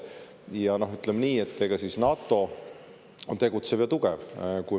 Ja ütleme nii, et NATO on tegutsev ja tugev.